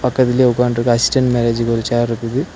பக்கத்திலேயே உக்காற்றுஇருக்க அசிஸ்டன்ட் மேனேஜருக்கு ஒரு சேர் இருக்குது.